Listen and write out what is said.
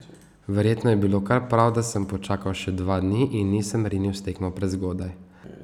Verjetno je bilo kar prav, da sem počakal še dva dni in nisem rinil s tekmo prezgodaj.